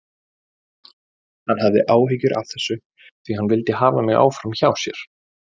Hann hafði áhyggjur af þessu því hann vildi hafa mig áfram hjá sér.